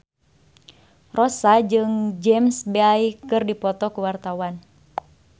Rossa jeung James Bay keur dipoto ku wartawan